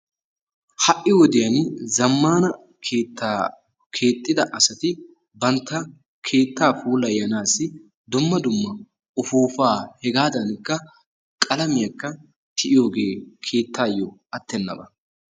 Ha'i wodiyaan zamman keettaa keexxida asati bantta keettaa puulaynassi dumma dumma ufufaa hegadankka qalamiyaakka tiyyiyooge keettayo atenabba.